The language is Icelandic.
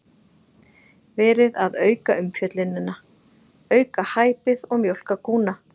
Verið að auka umfjöllunina, auka hæpið og mjólka kúna?